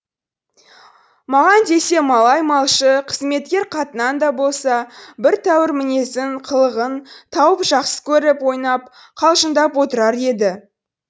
маған десе малай малшы қызметкер қатыннан да болса бір тәуір мінезін қылығын тауып жақсы көріп ойнап қалжыңдап отырар еді